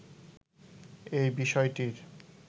এই বিষয়টির